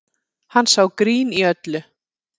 Hann sá grín í öllu